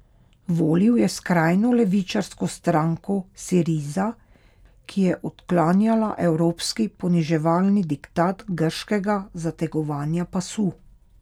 Volil je skrajno levičarsko stranko Siriza, ki je odklanjala evropski poniževalni diktat grškega zategovanja pasu.